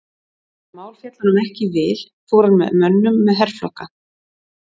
Þegar mál féllu honum ekki í vil fór hann að mönnum með herflokka.